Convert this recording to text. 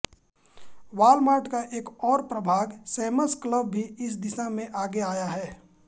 Walmart का एक और प्रभाग सैम्स क्लब भी इस दिशा में आगे आया है